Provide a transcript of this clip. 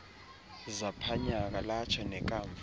zaphanyaka latsho nekamva